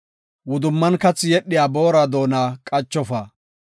Wudumman kathi yedhiya boora doona qachofa.